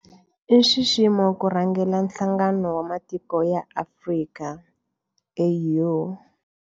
I nxiximo ku rhangela Nhlangano wa Matiko ya Afrika, AU.